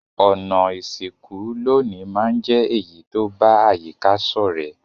Ònà ìsìnkú loní ma n je èyí to ba àyíká sọ̀rẹ́